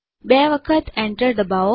બે વખત enter દબાવો